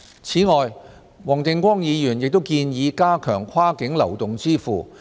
此外，黃定光議員亦建議加強跨境流動支付。